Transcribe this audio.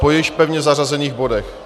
Po již pevně zařazených bodech.